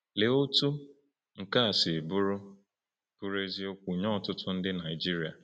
Lee otú nke a si bụrụ bụrụ eziokwu nye ọtụtụ n’ime ndị Naijiria!